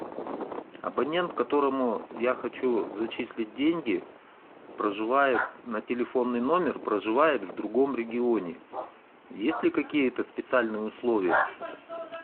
абонент которому я хочу зачислить деньги проживает на телефонный номер проживает в другом регионе есть ли какие то специальные условия